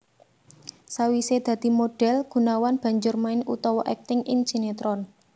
Sawisé dadi modhél Gunawan banjur main utawa akting ing sinetron